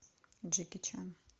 джеки чан